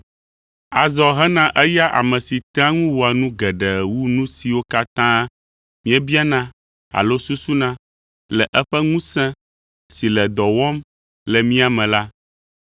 Azɔ hena eya ame si tea ŋu wɔa nu geɖe wu nu siwo katã míebiana alo susuna, le eƒe ŋusẽ si le dɔ wɔm le mía me la,